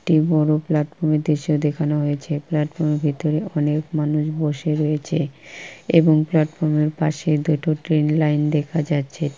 একটি বড় প্ল্যাটফর্ম -এর দৃশ্য দেখানো হয়েছে। প্ল্যাটফর্ম -এর ভিতর অনেক মানুষ বসে রয়েছে এবং প্ল্যাটফর্ম -এর পাশে দুটো ট্রেন লাইন দেখা যাচ্ছে ।